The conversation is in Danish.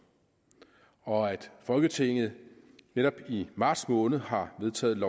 og at folketinget netop i marts måned har vedtaget